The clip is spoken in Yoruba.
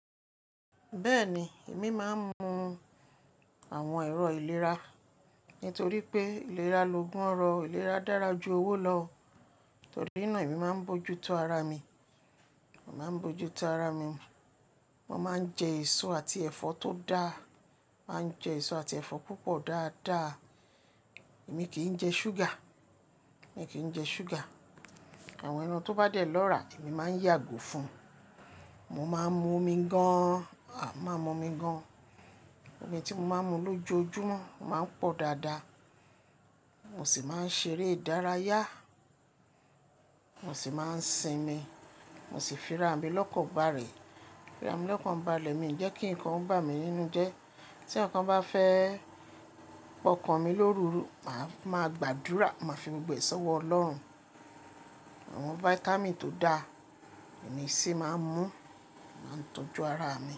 Bẹ́ẹ̀ni, èmi máa ń mu àwọn ẹ̀rọ ìlera nítorí pé ìlera lo gun ọrọ. Ìlera dára ju owó lọ, torí náa emi máa ń mojútó ara mi. Mo máa ń jẹ èso àti ẹ̀fọ́ tó dáa. Màá ń jẹ èso àti ẹ̀fọ́ púpọ̀ dáadáa. Èmi kì í jẹ ṣúgà, èmi kì í jẹ ṣúgà. Àwọn ẹran tó bá dẹ̀ lọ́ra, èmi máa ń yàgò fun. Mo máa ń mu omi gan. Omi tí mo máa ń mu lójoojúmọ́ máa ń pọ̀ dáadáa. Mo sì máa ń ṣeré ìdárayá. Mo sì máa ń sinmi. Mo sì fira mi lọ́kàn bàlè. Fira mi lọ́kàn bàlẹ̀ mi, ìjẹ́ kí ǹkan bá mi nínú jẹ́. Tí ǹkan bá fẹ́ pọ́nkan mi lórùrù, màá gbàdúrà, màá fi gbogbo èso wọ Ọlọ́run. Àwọn fáítámì tó dáa emi sì máa ń mu, máa ń tọ́jú ara mi.